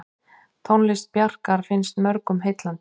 Tónlist Bjarkar finnst mörgum heillandi.